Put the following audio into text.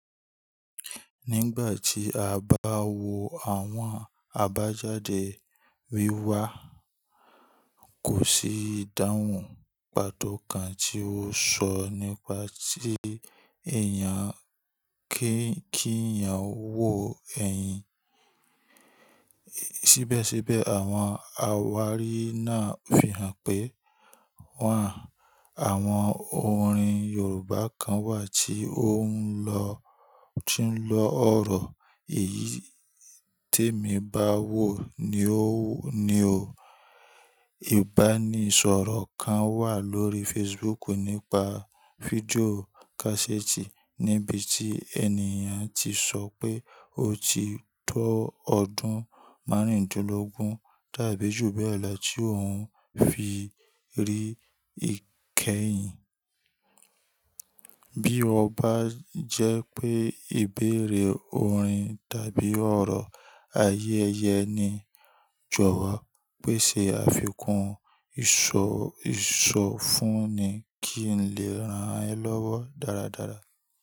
Nígbà tí a bá wo àwọn àbájáde wíwá, kò sí ìdáhùn pàtó kan tí ó sọ nípa tí èèyàn kí èèyàn wò ẹyin. Síbẹ̀síbẹ̀ àwọn àwárí náà fihàn pé wà á, àwọn orin Yorùbá kan wà tí ó ń lọ, tí ń lọ ọ̀rọ̀ èyí tí èmi bá wò ni ó, ni ò bá ní sọ̀rọ̀ kan wà lórí Facebook nípa fídíò káséètì níbi tí ènìyàn ti sọ pé ó ti tó ọdún márùndínlógún tàbí jù bẹ́ẹ̀ lọ tí òun fi rí ìkẹyìn. Bí ó bá jẹ́ pé ìbéèrè oorin tàbí ọ̀rọ̀ ayé ẹyẹ ni jọ wọ, péṣe àfikún ìsọ, ìsọ fún ni kí n lè ran ẹ lọ́wọ́ dáradára.